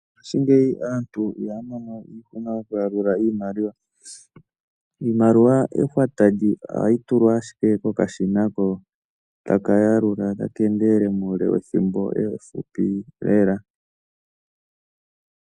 Ngaaashingeyi aantu ihaya mono iihuna okuyalula iimaliwa. Iimaliwa ehwata ohayi tulwa ashike kokashina ko taka yalula taka endelele muule wethimbo efupi lela.